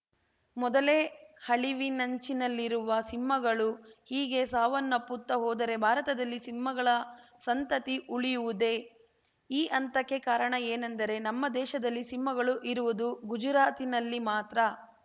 ಮೊದಲೇ ಅಳಿವಿನಂಚಿನಲ್ಲಿರುವ ಸಿಂಹಗಳು ಹೀಗೆ ಸಾವನ್ನಪ್ಪುತ್ತಾ ಹೋದರೆ ಭಾರತದಲ್ಲಿ ಸಿಂಹಗಳ ಸಂತತಿ ಉಳಿಯುವುದೇ ಈ ಅಂತಕೆ ಕಾರಣ ಏನೆಂದರೆ ನಮ್ಮ ದೇಶದಲ್ಲಿ ಸಿಂಹಗಳು ಇರುವುದು ಗುಜರಾತಿನಲ್ಲಿ ಮಾತ್ರ